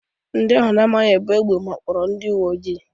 Ndị ahụ a na-amaghị buu egbe wakporo ụfọdụ ndị uwe ojii.